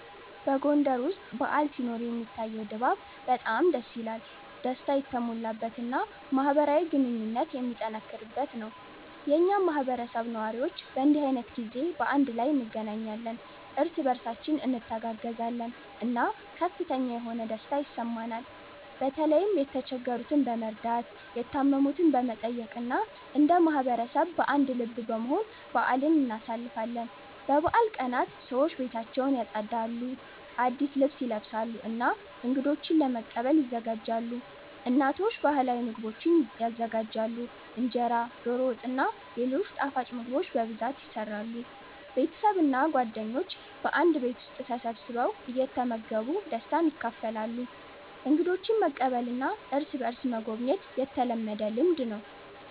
በጎንደር ውስጥ በዓል ሲኖር የሚታየው ድባብ በጣም ደስ የሚል፣ ደስታ የተሞላበት እና ማህበራዊ ግንኙነት የሚጠነክርበት ነው። የኛ ማህበረሰብ ነዋሪዎች በእንዲህ ዓይነት ጊዜ በአንድ ላይ እንገናኛለን፣ እርስ በእርሳችን እንተጋገዛለን እና ከፍተኛ የሆነ ደስታ ይሰማናል። በተለይም የተቸገሩትን በመርዳት፣ የታመሙትን በመጠየቅ እና እንደ ማህበረሰብ በአንድ ልብ በመሆን በአልን እናሳልፋለን። በበዓል ቀናት ሰዎች ቤታቸውን ያጸዳሉ፣ አዲስ ልብስ ይለብሳሉ እና እንገዶችን ለመቀበል ይዘጋጃሉ። እናቶች ባህላዊ ምግቦችን ይዘጋጃሉ፣ እንጀራ፣ ዶሮ ወጥ እና ሌሎች ጣፋጭ ምግቦች በብዛት ይሰራሉ። ቤተሰብ እና ጓደኞች በአንድ ቤት ተሰብስበው እየተመገቡ ደስታን ያካፍላሉ። እንግዶችን መቀበልና እርስ በእርስ መጎብኘት የተለመደ ልምድ ነው።